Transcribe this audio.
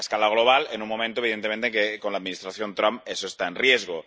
global, en un momento, evidentemente, en el que, con la Administración Trump, eso está en riesgo.